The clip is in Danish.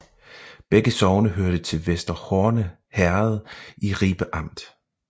Begge sogne hørte til Vester Horne Herred i Ribe Amt